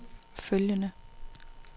følgende